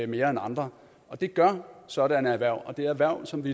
mere end andre og det gør sådanne erhverv og det er erhverv som vi